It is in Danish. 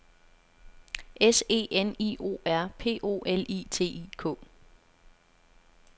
S E N I O R P O L I T I K